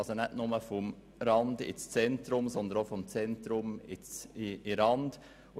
Von den Randregionen ins Zentrum und vom Zentrum in die Randregionen.